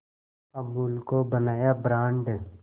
अमूल को बनाया ब्रांड